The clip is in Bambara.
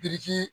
Biriki